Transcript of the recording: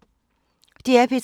DR P3